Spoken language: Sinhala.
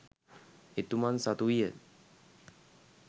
එතුමන් සතුවිය.